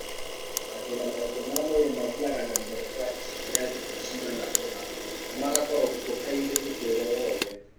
Mathĩna maingĩ ma mwĩrĩ mathiaga na mbere kwa ihinda rĩa thikũ cigana ũna na magakorũo kuo kaingĩ ũtũũro wothe.